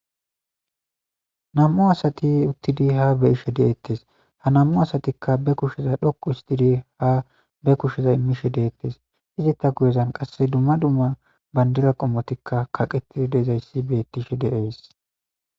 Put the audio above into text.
Na,mu asati utidi ha be,ishe detes ha na,mu asatika be kushera xoqu otidi ba kushe imishe detees eta guye bagara qasika duma duma bandira qomotika kaqetidi dizayisi betishe dee's